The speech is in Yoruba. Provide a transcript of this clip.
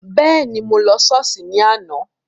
Bẹ́ẹ̀ni, mo lọ Sọ́ọ́sì ni àná.